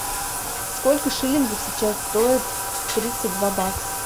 сколько шиллингов сейчас стоят тридцать два бакса